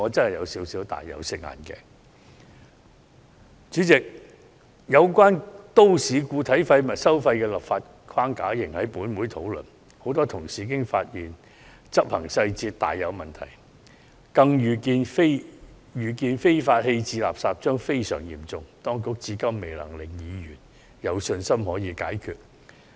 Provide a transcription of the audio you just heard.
代理主席，本會仍在討論有關都市固體廢物收費的立法框架，而許多同事已經發現執行細節大有問題，更預見非法棄置垃圾將非常嚴重，當局至今未能令議員有信心可以解決這個問題。